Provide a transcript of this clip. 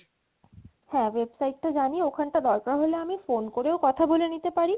হ্যাঁ website টা আমি জানি ওখানটা দরকার হলে আমি phone করেও কথা বলে নিতে পারি